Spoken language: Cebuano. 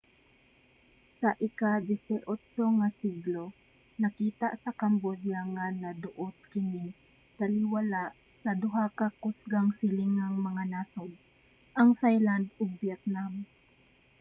sa ika-18 nga siglo nakita sa cambodia nga naduot kini taliwala sa duha ka kusgang silingang mga nasod ang thailand ug vietnam